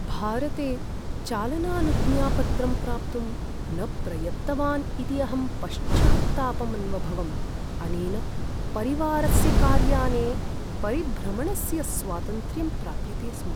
भारते चालनानुज्ञापत्रं प्राप्तुं न प्रयत्तवान् इति अहं पश्चात्तापम् अन्वभवम्, अनेन परिवारस्य कार्याने परिभ्रमणस्य स्वातन्त्र्यं प्राप्यते स्म।